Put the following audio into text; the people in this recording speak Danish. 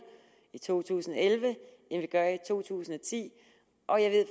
i to tusind og elleve end vi gør i to tusind og ti og jeg ved